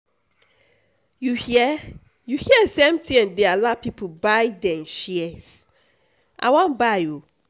you hear you hear say mtn dey allow people buy dem shares? i wan buy oo